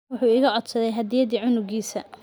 Wuxuu iga codsaday hadiyaddii cunugisa.